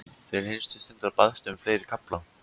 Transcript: Til hinstu stundar baðstu um fleiri kafla.